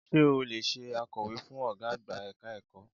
Sé o lè se akọ̀wé fún Ọ̀gá àgbà ẹ̀ka ẹ̀kọ́?